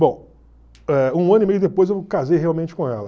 Bom, eh um ano e meio depois eu casei realmente com ela.